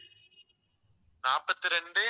நாற்பத்தி இரண்டு